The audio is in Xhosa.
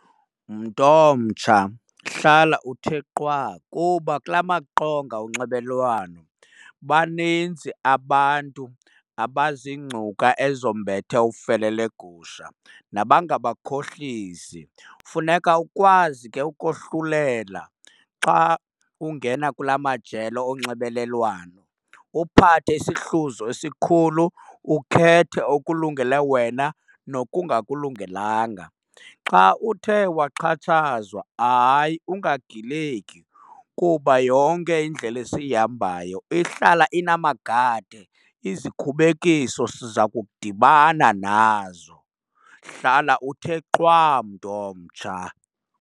Mntu omtsha, hlala uthe qwa kuba kula maqonga onxibelelwano baninzi abantu abazingcuka ezombethe ufele legusha nabangabakhohlisi. Funeka ukwazi ke ukohlulela xa ungena kula majelo onxibelelwano, uphathe isihluzo esikhulu ukhethe okulungele wena nokungakulungelanga. Xa uthe waxhatshazwa, hayi ungagileki, kuba yonke indlela esiyihambayo ihlala inamagade, izikhubekiso siza kudibana nazo. Hlala uthe qwa, mntu omtsha.